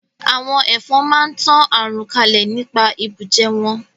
Àwọn Ẹ̀fọn máa ń tan àrùn kalẹ̀ nípa ìbùjẹ wọn